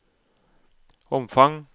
omfang